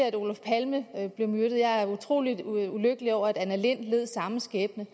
at olof palme blev myrdet og jeg er utrolig ulykkelig over at anna lindh led samme skæbne